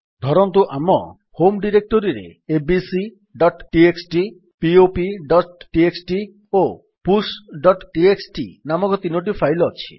ଧରନ୍ତୁ ଆମ ହୋମ୍ ଡିରେକ୍ଟୋରୀରେ abcଟିଏକ୍ସଟି popଟିଏକ୍ସଟି ଓ pushଟିଏକ୍ସଟି ନାମକ ତିନୋଟି ଫାଇଲ୍ ଅଛି